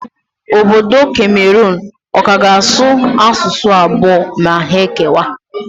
Obodo Kameron ọ ka ga-asụ asụsụ abụọ ma ha kewaa?